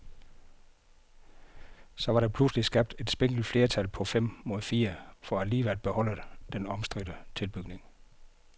Så var der pludselig skabt et spinkelt flertal på fem mod fire for alligevel at beholde den omstridte tilbygning.